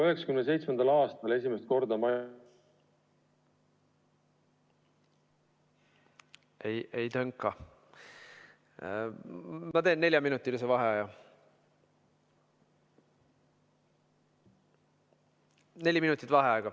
Tundub, et meil ei ole ühendust.